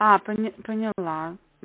а поняла